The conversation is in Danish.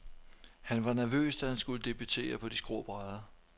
Han var nervøs, da han skulle debutere på de skrå brædder.